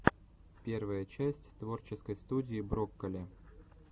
первая часть творческой студии брокколи